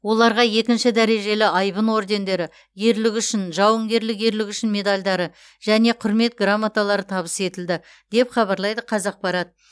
оларға екінші дәрежелі айбын ордендері ерлігі үшін жауынгерлік ерлігі үшін медальдары және құрмет грамоталары табыс етілді деп хабарлайды қазақпарат